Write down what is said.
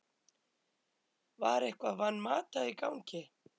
Var eitthvað Van Mata í gangi?